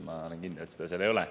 Ma olen kindel, et seda ei ole.